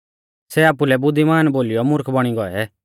सै आपुलै बुद्धिमान बोलीयौ मुर्ख बौणी गौऐ